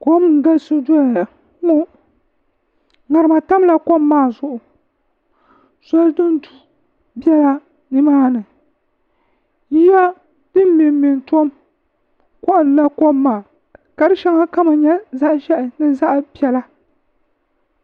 kom n galisi doya la ŋarima tamla kom maa zuɣu zoli din du biɛla nimaani yiya din mɛnmɛ n tom koɣalila kom maa ka di shɛŋa kama nyɛ zaɣ ʒiɛhi ni zaɣ piɛla